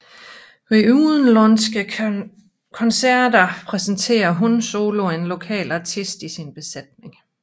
Ved udenlandske koncerter præsenterer HUN SOLO en lokal artist i sin besætning